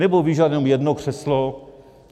Nebo vyžaduju jenom jedno křeslo?